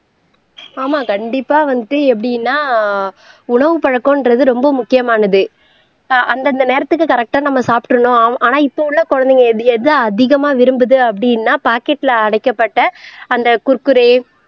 ஆமா கண்டிப்பா வந்துட்டு எப்படின்னா உணவுப்பழக்கம்ன்றது ரொம்ப முக்கியமானது ஆஹ் அந்தந்த நேரத்துக்கு கரெக்டா நம்ம சாப்பிடணும் ஆனா இப்ப உள்ள குழந்தைங்க எதை எதை அதிகமாக விரும்புது அப்படின்னா பாக்கெட்ல அடைக்கப்பட்ட அந்த குர்குரே